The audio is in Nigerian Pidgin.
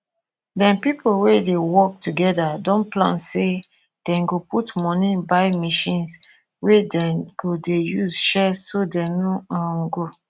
dem pipo we dey work together don plan say dem go put money buy machines wey dem go dey use share so dem no um go